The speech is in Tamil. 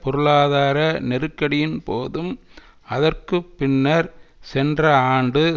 பொருளாதார நெருக்கடியின் போதும் அதற்கு பின்னர் சென்ற ஆண்டு